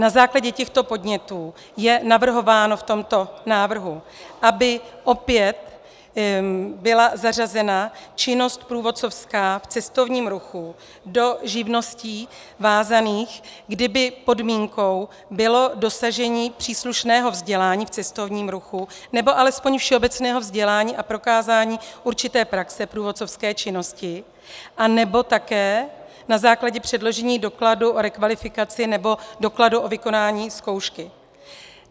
Na základě těchto podnětů je navrhováno v tomto návrhu, aby opět byla zařazena činnost průvodcovská v cestovním ruchu do živností vázaných, kdy by podmínkou bylo dosažení příslušného vzdělání v cestovním ruchu nebo alespoň všeobecného vzdělání a prokázání určité praxe průvodcovské činnosti, anebo také na základě předložení dokladu o rekvalifikaci nebo dokladu o vykonání zkoušky.